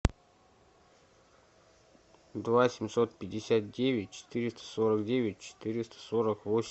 два семьсот пятьдесят девять четыреста сорок девять четыреста сорок восемь